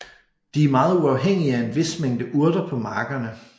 De er meget afhængige af en vis mængde urter på markerne